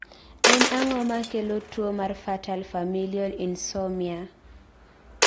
en ang'o makelo tuwo mar fatal familial insomnia?